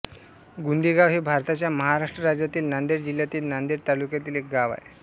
गुंदेगाव हे भारताच्या महाराष्ट्र राज्यातील नांदेड जिल्ह्यातील नांदेड तालुक्यातील एक गाव आहे